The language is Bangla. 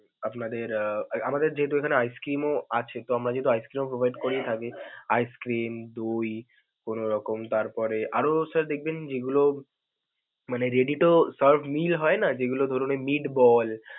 আপনাদের আহ আমাদের যেহেতু এইখানে ice cream ও আছে তো আমরা যেহেতু ice cream ও provide করে থাকি ice cream, দই, কোনো রকম তারপরে আরও sir দেখবেন যে গুলো মানে ready to serve meal হয়না ধরুন ওই meat ball.